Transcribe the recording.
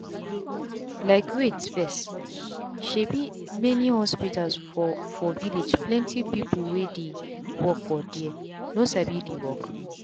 likewait fess um many hospitals for for villageplenty people wey dey work for there no sabi the work.